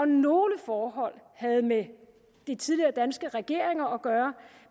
nogle forhold havde med de tidligere danske regeringer at gøre